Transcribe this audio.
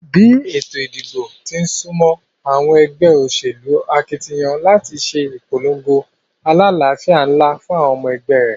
Bí ètò ìdìbò tín súmó, àwon egbé òsèlú akitiyan láti sé ìpolongo alálàfíà nlá fún àwon omo egbé ré